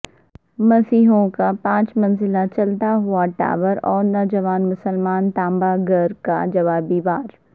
مسیحیوں کا پانچ منزلہ چلتا ہوا ٹاور اور نوجوان مسلمان تانبہ گر کا جوابی وار